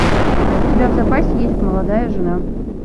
у тебя в запасе есть молодая жена